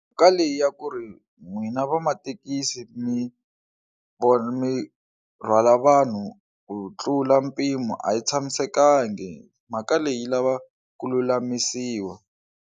Ka leyi ya ku ri n'wina va mathekisi mi vona mi rhwala vanhu ku tlula mpimo a yi tshamisekangi mhaka leyi yi lava ku lulamisiwa.